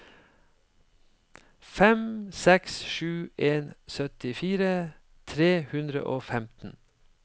fem seks sju en syttifire tre hundre og femten